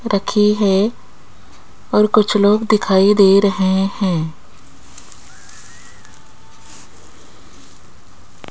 रखी है और कुछ लोग दिखाई दे रहे हैं।